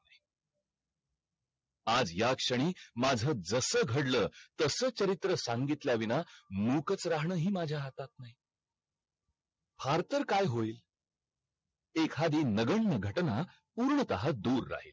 आज ह्याच क्षणी माझ जस घडल तस चरित्र सांगितल्या विना मुकच रहाणं हि माझा हातात नाही फार तर काय होईल एखादी नवीन घटना पूर्ण तह दूर राहील